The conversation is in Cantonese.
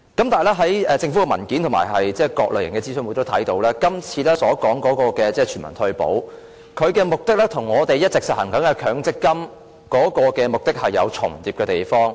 但是，在政府的文件及在各類型的諮詢會上也可以看到，今次所說的全民退保，其目的與我們一直實行的強積金的目的有重疊的地方。